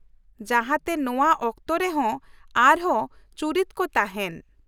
ᱡᱟᱦᱟᱸ ᱛᱮ ᱱᱚᱶᱟ ᱚᱠᱛᱚᱨᱮᱦᱚᱸ ᱟᱨᱦᱚᱸ ᱪᱩᱨᱤᱛ ᱠᱚ ᱛᱟᱦᱮᱱ ᱾